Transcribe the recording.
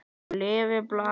Lifi blakið!